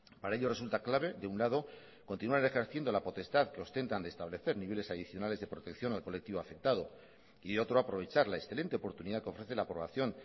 para ello resulta clave de un lado continuar ejerciendo la potestad que ostentan de establecer niveles adicionales de protección al colectivo afectado y de otro aprovechar la excelente oportunidad que ofrece la aprobación